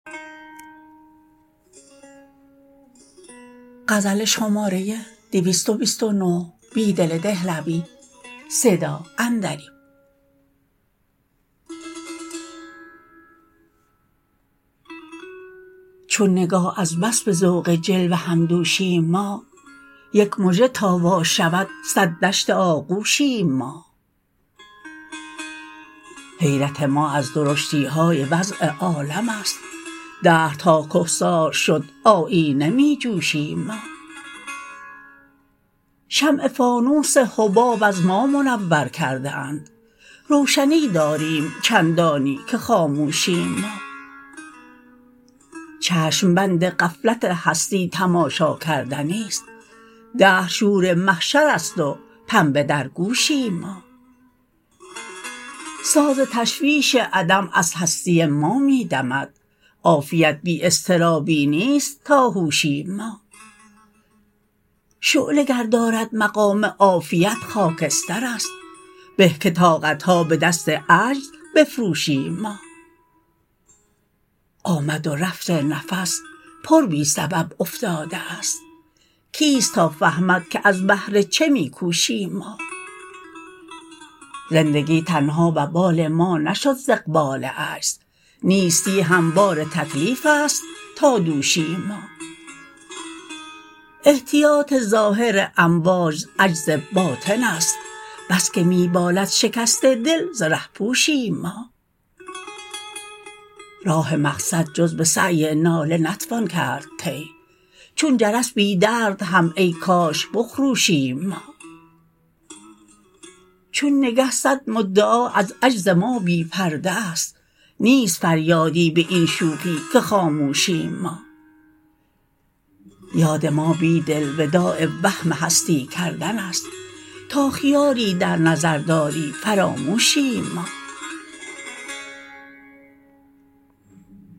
چون نگاه از بس به ذوق جلوه همدوشیم ما یک مژه تا واشود صد دشت آغوشیم ما حیرت ما ازدرشتیهای وضع عالم است دهرتاکهسار شد آیینه می جوشیم ما شمع فانوس حباب از ما منورکرده اند روشنی داریم چندانی که خاموشیم ما چشم بند غفلت هستی تماشاکردنی ست دهرشور محشرست وپنبه درگوشیم ما ساز تشویش عدم از هستی ما می دمد عافیت بی اضطرابی نیست تا هوشیم ما شعله گر دارد مقام عافیت خاکسترست به که طاقتها به دست عجزبفروشیم ما آمد و رفت نفس پر بی سبب افتاده است کیست تافهمدکه از بهر چه می کوشیم ما زندگی تنها وبال ما نشد ز اقبال عجز نیستی هم بارتکلیف است تا دوشیم ما احتیاط ظاهر امواج عجز باطن است بسکه می بالد شکست دل زره پوشیم ما راه مقصد جزبه سعی ناله نتوان کرد طی چون جرس بیدرد هم ای کاش بخروشیم ما چون نگه صدمدعا ازعجز مابی پرده است نیست فریادی به این شوخی که خاموشیم ما یاد ما بیدل وداع وهم هستی کردن است تا خیالی در نظر داری فراموشیم ما